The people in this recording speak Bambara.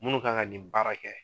Minnu kan ka nin baara kɛ